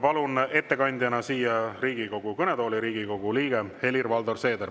Palun ettekandjana siia Riigikogu kõnetooli Riigikogu liikme Helir-Valdor Seederi.